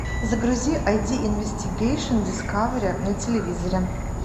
загрузи айди инвестигейшн дискавери на телевизоре